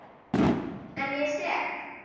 En ég er sek.